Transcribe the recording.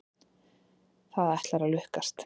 Það ætlar að lukkast.